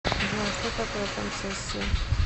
джой что такое концессия